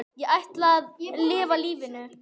Ég ætla að lifa lífinu.